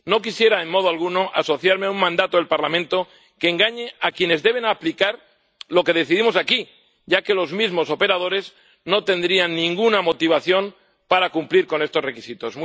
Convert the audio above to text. No quisiera en modo alguno asociarme a un mandato del Parlamento que engañe a quienes deben aplicar lo que decidimos aquí, ya que los mismos operadores no tendrían ninguna motivación para cumplir con estos requisitos.